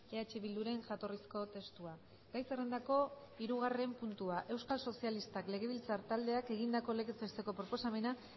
eh bilduren jatorrizko testua gai zerrendako hirugarren puntua euskal sozialistak legebiltzar taldeak egindako legez besteko proposamena